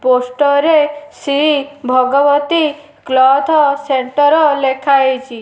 Poster ରେ Shri Bhagwati cloth centre ଲେଖା ହେଇଚି।